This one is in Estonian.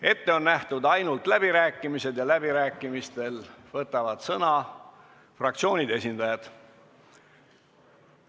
Ette on nähtud ainult läbirääkimised, kus saavad sõna võtta fraktsioonide esindajad.